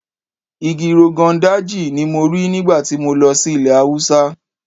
Igi Rogon Daji ni mo rí nígbà tí mo lọ sí ilẹ̀ Haúsá.